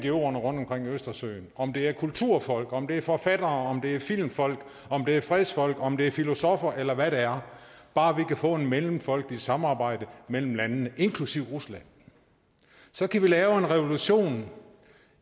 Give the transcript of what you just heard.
ngoerne omkring østersøen om det er kulturfolk om det er forfattere om det er filmfolk om det er fredsfolk om det er filosoffer eller hvad det er bare vi kan få et mellemfolkeligt samarbejde mellem landene inklusive rusland så kan vi lave en revolution